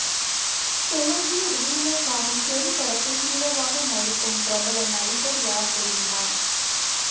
தெலுங்கில் ரீமேக் ஆகும் தெறி படத்தில் ஹீரோவாக நடிக்கும் பிரபல நடிகர் யார் தெரியுமா